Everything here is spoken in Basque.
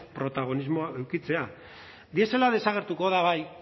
protagonismoa edukitzea diesela desagertuko da bai